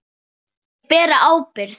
Þeir bera ábyrgð.